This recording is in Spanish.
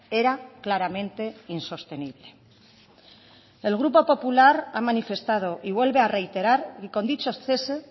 era claramente insostenible el grupo popular ha manifestado y vuelve a reiterar y con dichos cese